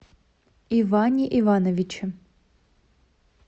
иване ивановиче